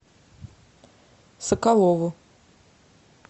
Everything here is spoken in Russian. соколову